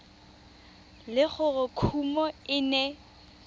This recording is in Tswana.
le gore kumo e ne